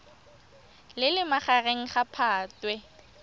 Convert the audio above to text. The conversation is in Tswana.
le leng magareng ga phatwe